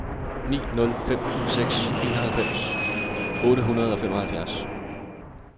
ni nul fem seks enoghalvfems otte hundrede og femoghalvfjerds